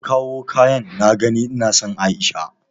An kawo kayan na gani ina son aisha?